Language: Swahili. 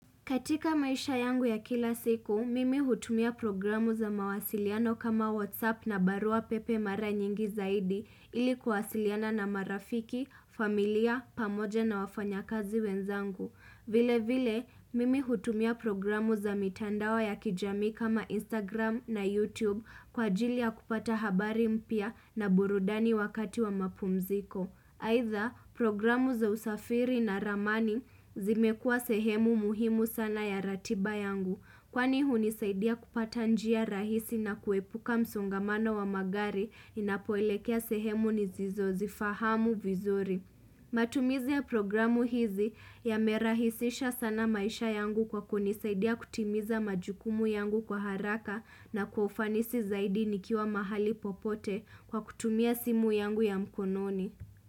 Katika maisha yangu ya kila siku, mimi hutumia programu za mawasiliano kama Whatsapp na barua pepe mara nyingi zaidi ili kuwasiliana na marafiki, familia, pamoja na wafanyakazi wenzangu. Vile vile, mimi hutumia programu za mitandao ya kijamii kama Instagram na YouTube kwa ajili ya kupata habari mpya na burudani wakati wa mapumziko. Aidha programu za usafiri na ramani zimekua sehemu muhimu sana ya ratiba yangu kwani hunisaidia kupata njia rahisi na kuepuka msongamano wa magari inapoelekea sehemu nizizozifahamu vizuri. Matumizi ya programu hizi yamerahisisha sana maisha yangu kwa kunisaidia kutimiza majukumu yangu kwa haraka na kwa ufanisi zaidi nikiwa mahali popote kwa kutumia simu yangu ya mkononi.